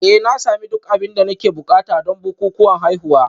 Eh na sami duk abin da nake buƙata don bukukuwan haihuwa